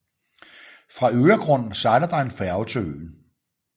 Fra Öregrund sejler der en færge til øen